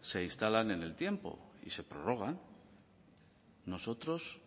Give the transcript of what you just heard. se instalan en el tiempo y se prorrogan nosotros